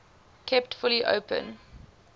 kept fully open